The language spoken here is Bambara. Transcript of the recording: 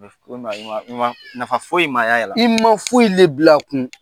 Nafa foyi in ma y'a la i ma foyi le bila a kun